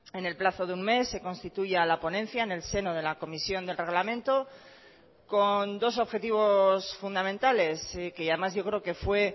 en el plazo de un mes se constituya la ponencia en el seno de la comisión del reglamento con dos objetivos fundamentales que además yo creo que fue